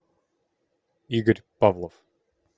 игорь павлов